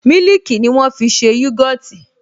Mílìkì ni wọ́n fi ṣe yogọtì